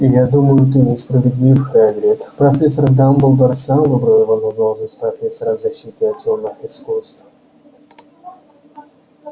я думаю ты несправедлив хагрид профессор дамблдор сам выбрал его на должность профессора защиты от тёмных искусств